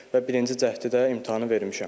Və birinci cəhdi də imtahanı vermişəm.